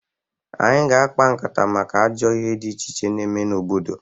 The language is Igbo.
Anyị ga-akpa nkata maka ajọ ihe dị iche iche na-eme n'obodo.